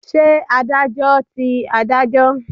Ṣé Adájọ́ ti Adájọ́?